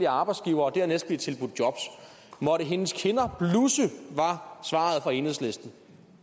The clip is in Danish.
arbejdsgivere og dernæst blive tilbudt jobs måtte hendes kinder blusse var svaret fra enhedslisten